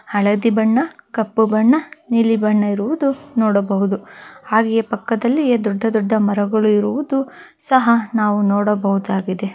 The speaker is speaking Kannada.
ಹಳದಿ ಬಣ್ಣ ಕಪ್ಪು ಬಣ್ಣ ನೀಲಿ ಬಣ್ಣ ಇರುವುದು ನೋಡಬಹುದು ಹಾಗೆಯೇ ಪಕ್ಕದಲ್ಲಿಯೇ ದೊಡ್ಡ ದೊಡ್ಡ ಮರಗಳಿರುವುದು ಸಹ ನಾವು ನೋಡಬಹುದಾಗಿದೆ.